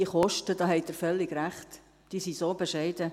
Die Kosten – da haben Sie völlig recht – sind so bescheiden: